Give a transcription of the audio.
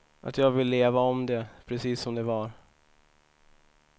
Att jag vill leva om det, precis som det var.